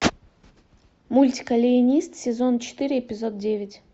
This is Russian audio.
мультик алиенист сезон четыре эпизод девять